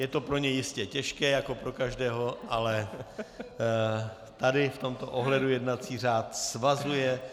Je to pro něj jistě těžké, jako pro každého, ale tady v tomto ohledu jednací řád svazuje.